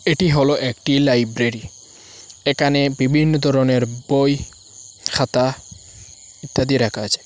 এটি হলো একটি লাইব্রেরি এখানে বিভিন্ন ধরনের বই খাতা ইত্যাদি রাখা আছে।